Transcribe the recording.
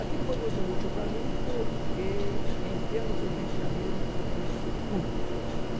Aquilo foi muito útil para mim porque, em termos de Rio de Janeiro, eu conheço tudo.